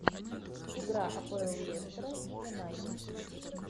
игра апл лестера и юнайтед